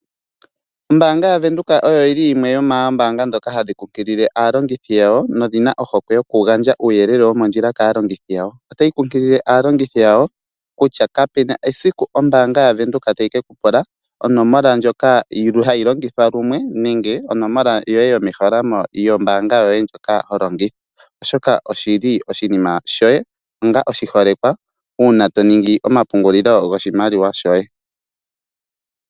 Ombaanga yaVenduka oyo yili yimwe yomoombanga ndhoka hadhi kunkilile aalongithi yadho nodhina ohokwe yokugandja uuyelele womondjila kaalongithi yawo . Otayi kunkilile aalongithi yawo kutya kapena esiku ombaanga yaVenduka tayi kekupula onomola ndjoka hayi longithwa lumwe nenge onomola yoye yomeholamo yombaanga yoye ndjoka holongitha oshoka oshili oshinima shoye onga oshiholekwa uuna toningi yomapungulilo goshimaliwa shoye.